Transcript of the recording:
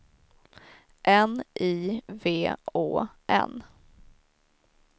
N I V Å N